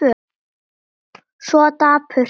Svo dapurt allt.